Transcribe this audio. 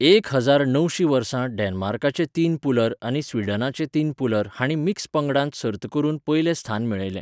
एक हजार णवशी वर्सा डेन्मार्काचे तीन पुलर आनी स्वीडनाचे तीन पुलर हांणी मिक्स पंगडांत सर्त करून पयलें स्थान मेळयलें.